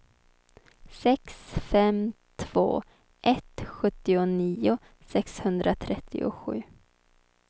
sex fem två ett sjuttionio sexhundratrettiosju